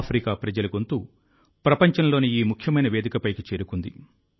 Africa ప్రజల గొంతు ప్రపంచంలోని ఈ ముఖ్యమైన వేదికపైకి చేరుకుంది